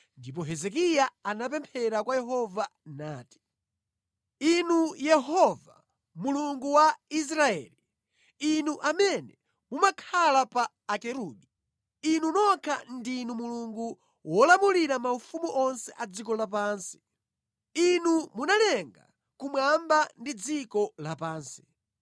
Ndipo Hezekiya anapemphera kwa Yehova nati, “Inu Yehova Mulungu wa Israeli, Inu amene mumakhala pa Akerubi, Inu nokha ndinu Mulungu wolamulira maufumu onse a dziko lapansi. Inu munalenga kumwamba ndi dziko lapansi.